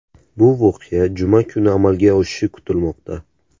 Bu voqea juma kuni amalga oshishi kutilmoqda.